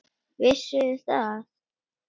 Vissuð þið það?